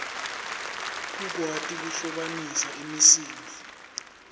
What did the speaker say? kukwati kuhlobanisa imisindvo